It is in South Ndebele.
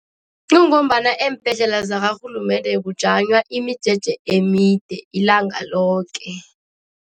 Kungombana eembhedlela zakarhulumende kujanywa imijeje emide ilanga loke.